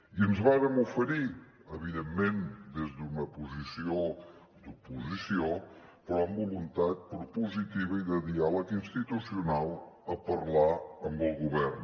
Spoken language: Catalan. i ens vàrem oferir evidentment des d’una posició d’oposició però amb voluntat propositiva i de diàleg institucional a parlar amb el govern